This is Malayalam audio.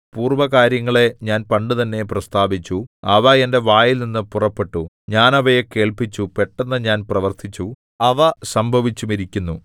പൂർവ്വകാര്യങ്ങളെ ഞാൻ പണ്ടുതന്നെ പ്രസ്താവിച്ചു അവ എന്റെ വായിൽനിന്നു പുറപ്പെട്ടു ഞാൻ അവയെ കേൾപ്പിച്ചു പെട്ടെന്ന് ഞാൻ പ്രവർത്തിച്ചു അവ സംഭവിച്ചുമിരിക്കുന്നു